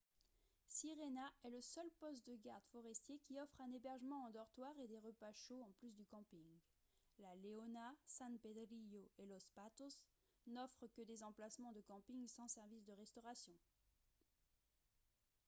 sirena est le seul poste de gardes forestiers qui offre un hébergement en dortoir et des repas chauds en plus du camping la leona san pedrillo et los patos n'offrent que des emplacements de camping sans service de restauration